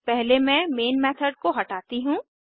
पहले मैं main method को हटाती हूँ